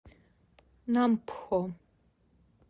нампхо